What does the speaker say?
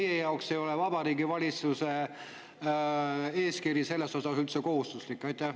Või teie jaoks ei ole Vabariigi Valitsuse eeskiri selles osas üldse kohustuslik?